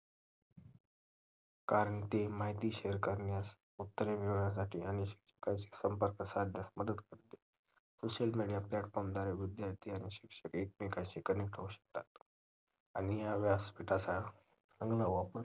कारण ती माहिती share करण्यास उत्तरे मिळवण्यासाठी आणि एकमेकांशी संपर्क साधण्यास मदत करते social media platfform द्वारे विद्यार्थी आणि शिक्षक एकमेकांशी connect होऊ शकतात आणि ह्या व्यासपीठाचा चांगला वापर